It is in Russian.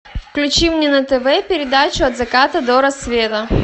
включи мне на тв передачу от заката до рассвета